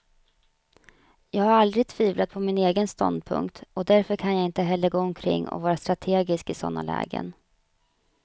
Jag har aldrig tvivlat på min egen ståndpunkt, och därför kan jag inte heller gå omkring och vara strategisk i sådana lägen.